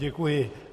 Děkuji.